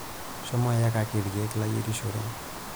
Shomo iyakaki ilkeek layierishore.